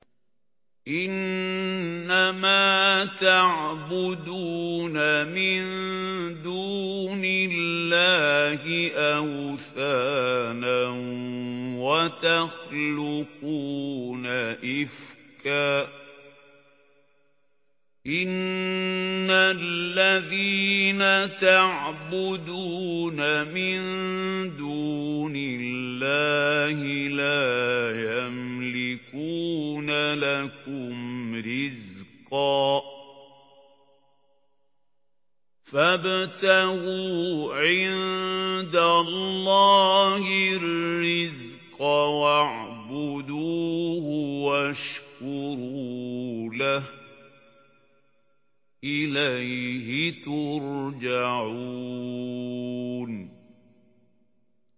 إِنَّمَا تَعْبُدُونَ مِن دُونِ اللَّهِ أَوْثَانًا وَتَخْلُقُونَ إِفْكًا ۚ إِنَّ الَّذِينَ تَعْبُدُونَ مِن دُونِ اللَّهِ لَا يَمْلِكُونَ لَكُمْ رِزْقًا فَابْتَغُوا عِندَ اللَّهِ الرِّزْقَ وَاعْبُدُوهُ وَاشْكُرُوا لَهُ ۖ إِلَيْهِ تُرْجَعُونَ